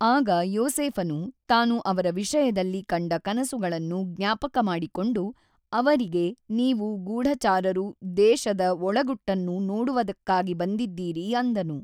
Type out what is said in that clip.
ಆಗ ಯೋಸೇಫನು ತಾನು ಅವರ ವಿಷಯದಲ್ಲಿ ಕಂಡ ಕನಸುಗಳನ್ನು ಜ್ಞಾಪಕಮಾಡಿಕೊಂಡು ಅವ ರಿಗೆ ನೀವು ಗೂಢಚಾರರು ದೇಶದ ಒಳಗುಟ್ಟನ್ನು ನೋಡುವದಕ್ಕಾಗಿ ಬಂದಿದ್ದೀರಿ ಅಂದನು.